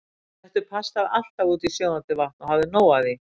Settu pastað alltaf út í sjóðandi vatn og hafðu nóg af því.